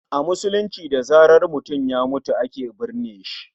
A musulunce da zaran mutum ya mutu ake binne shi